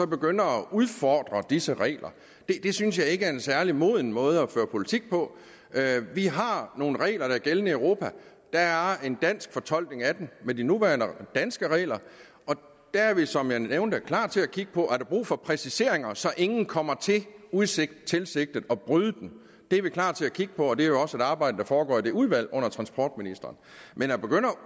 begynde at udfordre disse regler det synes jeg ikke er en særlig moden måde at føre politik på vi har nogle regler der er gældende i europa der er en dansk fortolkning af dem med de nuværende danske regler og der er vi som jeg nævnte klar til at kigge på om der er brug for præciseringer så ingen kommer til utilsigtettilsigtet at bryde dem det er vi klar til at kigge på og det er også et arbejde der foregår i det udvalg under transportministeren men at begynde at